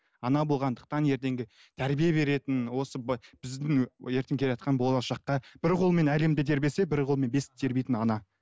ана болғандықтан ертеңгі тәрбие беретін осы біздің ертең келатқан болашаққа бір қолымен әлемді тербетсе бір қолымен бесікті тербейтін ана